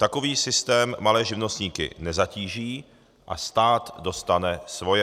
Takový systém malé živnostníky nezatíží a stát dostane svoje.